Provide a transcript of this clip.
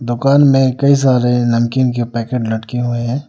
दुकान में कई सारे नमकीन के पैकेट लटके हुए है।